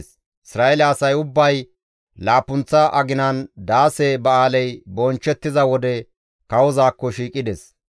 Isra7eele asay ubbay laappunththa aginan, Daase Ba7aaley bonchchettiza wode kawozaakko shiiqides.